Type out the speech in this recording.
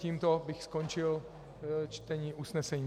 Tímto bych skončil čtení usnesení.